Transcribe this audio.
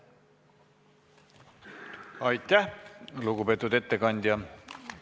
Aitäh, lugupeetud ettekandja!